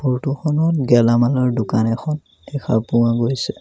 ফটোখনত গেলামালৰ দোকান এখন দেখা পোৱা গৈছে।